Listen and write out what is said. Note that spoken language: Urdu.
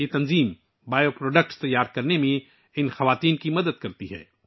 یہ تنظیم ان خواتین کو بائیو پروڈکٹس تیار کرنے میں مدد کرتی ہے